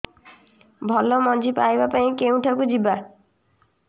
ଭଲ ମଞ୍ଜି ପାଇବା ପାଇଁ କେଉଁଠାକୁ ଯିବା